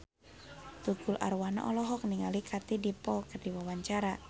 Tukul Arwana olohok ningali Katie Dippold keur diwawancara